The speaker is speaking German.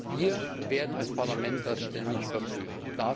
Wir werden das als Parlament ständig überprüfen.